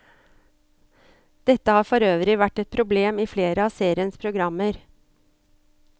Dette har forøvrig vært et problem i flere av seriens programmer.